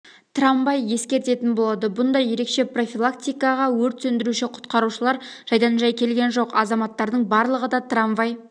трамвай ескертетін болады бұндай ерекше профилактикаға өрт сөндіруші-құтқарушылар жайдан-жай келген жоқ азаматтардың барлығы да трамвай